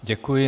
Děkuji.